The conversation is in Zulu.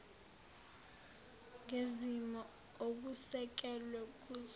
ngezimo okusekelwe kuzo